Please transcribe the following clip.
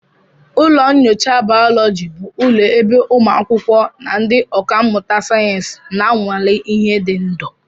Ụlọ nyocha bayoloji bụ ụlọ ebe ụmụ akwụkwọ na ndị ọkà mmụta sayensị na-anwale ihe dị ndụ